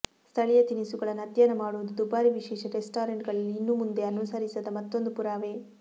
ಸ್ಥಳೀಯ ತಿನಿಸುಗಳನ್ನು ಅಧ್ಯಯನ ಮಾಡುವುದು ದುಬಾರಿ ವಿಶೇಷ ರೆಸ್ಟಾರೆಂಟ್ಗಳಲ್ಲಿ ಇನ್ನು ಮುಂದೆ ಅನುಸರಿಸದ ಮತ್ತೊಂದು ಪುರಾವೆ